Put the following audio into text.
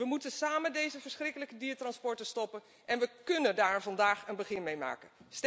We moeten samen deze verschrikkelijke diertransporten stoppen en we kunnen daar vandaag een begin mee maken.